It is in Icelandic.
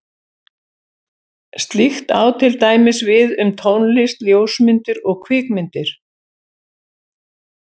Slíkt á til dæmis við um tónlist, ljósmyndir og kvikmyndir.